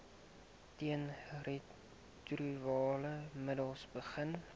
teenretrovirale middels begin